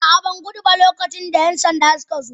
A'a, ban gudu ba lokacin da 'yan sanda suka zo.